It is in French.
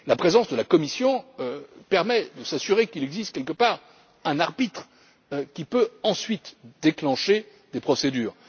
La présence de la Commission permet de s'assurer qu'il existe quelque part un arbitre qui peut ensuite déclencher des procédures.